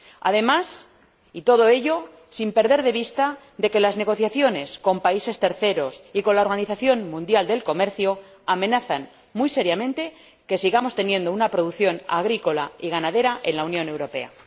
Además, todo ello sin perder de vista que las negociaciones con países terceros y con la Organización Mundial del Comercio amenazan muy seriamente el que sigamos teniendo una producción agrícola y ganadera en la Unión Europea.